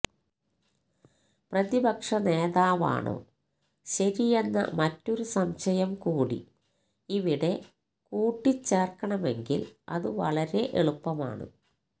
പ്രതിപക്ഷ നേതാവാണോ ശരിയെന്ന മറ്റൊരു സംശയം കൂടി ഇവിടെ കൂട്ടിച്ചേർക്കണമെങ്കിൽ അത് വളരെ എളുപ്പമാണ്